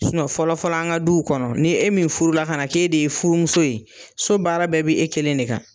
fɔlɔ fɔlɔ an ka duw kɔnɔ ni e min furu la ka na k'e de ye furu muso ye so baara bɛɛ bɛ e kelen de kan.